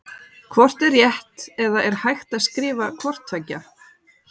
Hvort er rétt eða er hægt að skrifa hvort tveggja?